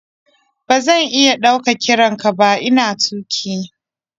Ba zan iya ɗaukar kiran ka ba ina tuƙi.